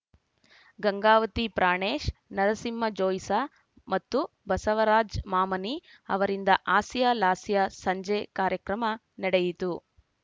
ಗಂಗಾವತಿ ಪ್ರಾಣೇಶ್‌ ನರಸಿಂಹ ಜೋಯ್ಸ ಮತ್ತು ಬಸವರಾಜ್‌ ಮಾಮನಿ ಅವರಿಂದ ಹಾಸ್ಯಲಾಸ್ಯ ಸಂಜೆ ಕಾರ್ಯಕ್ರಮ ನಡೆಯಿತು